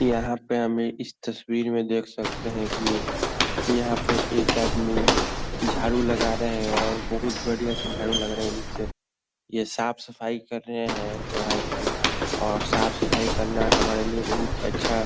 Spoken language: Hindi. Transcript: यहाँ पे हमें इस तस्वीर में देख सकते हैं कि यहाँ पे एक आदमी झाड़ू लगा रहें है और बहुत बढ़िया से झाड़ू लगा रहें हैं निचे। ये साफ सफाई कर रहें हैं यहाँ की और साफ-सफाई करना हमारे लिए बहुत अच्छा --